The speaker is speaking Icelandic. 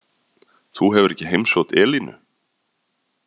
Þú hefur ekki heimsótt Elínu?